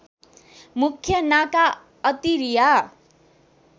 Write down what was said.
मुख्य नाका अत्तरिया